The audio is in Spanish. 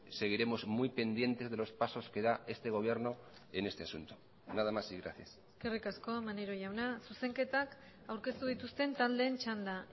seguiremos muy pendientes de los pasos que da este gobierno en este asunto nada más y gracias eskerrik asko maneiro jauna zuzenketak aurkeztu dituzten taldeen txanda